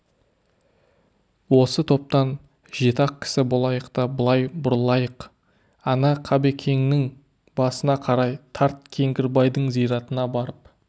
осы топтан жеті-ақ кісі болайық та былай бұрылайық ана қабекеңнің басына қарай тарт кеңгірбайдың зиратына барып